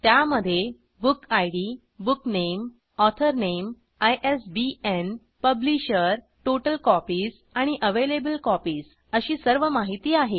त्यामधे book ID booknameऑथर नामे आयएसबीएन पब्लिशर टोटल कॉपीज आणि अवेलेबल कॉपीज अशी सर्व माहिती आहे